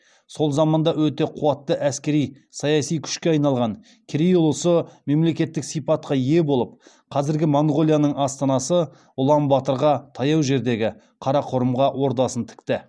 сол заманда өте қуатты әскери саяси күшке айналған керей ұлысы мемлекеттік сипатқа ие болып қазіргі монғолияның астанасы улан баторға таяу жердегі қарақорымға ордасын тікті